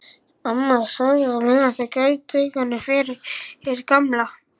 Amma þagði á meðan en gaut augunum yfir til Gamla.